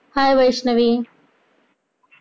Hi Vaishnavi!